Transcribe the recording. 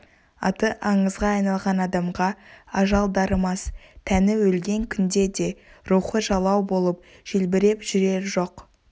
аты аңызға айналған адамға ажал дарымас тәні өлген күнде де рухы жалау болып желбіреп жүрер жоқ